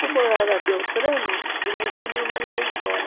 Como eu era, eles iam me mandar embora.